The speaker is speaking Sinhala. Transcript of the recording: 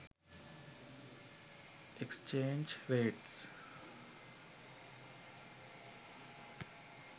exchange rates